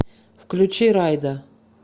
включи райда